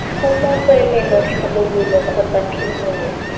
tlhomo tswelelo tlhabololo kgotsa phimolo